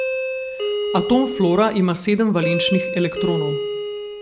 Atom fluora ima sedem valenčnih elektronov.